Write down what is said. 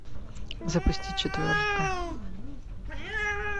запусти четверка